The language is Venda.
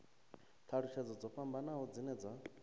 thalutshedzo dzo fhambanaho dzine dza